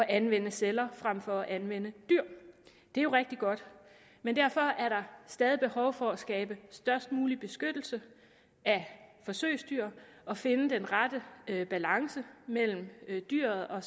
anvende celler frem for at anvende dyr det er jo rigtig godt men derfor er der stadig behov for at skabe størst mulig beskyttelse af forsøgsdyr og finde den rette balance mellem dyret og